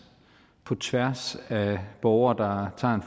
på tværs af borgere der tager